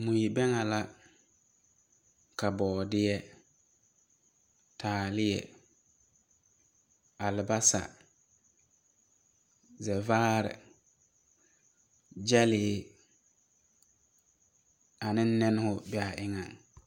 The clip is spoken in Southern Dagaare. Mui-bԑŋԑ la, ka bͻͻdeԑ, ka taaleԑ, alebasa, zԑvaare, gyԑlee, ane nԑne-ho be a eŋԑŋ.